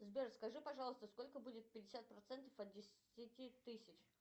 сбер скажи пожалуйста сколько будет пятьдесят процентов от десяти тысяч